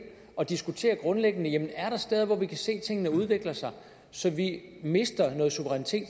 og diskutere grundlæggende jamen er der steder hvor vi kan se at tingene udvikler sig så vi mister suverænitet